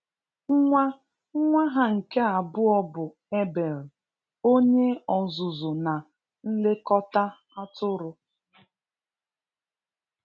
nwa nwa ha nke abụọ bụ Abel, onye ọzụzụ na nlekọta atụrụ.